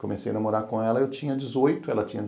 Comecei a namorar com ela, eu tinha dezoito, ela tinha